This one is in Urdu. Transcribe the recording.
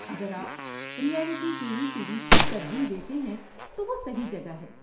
اگر آپ ریئلٹی ٹی وی سیریز کو ترجیح دیتے ہیں تو وہ صحیح جگہ ہے۔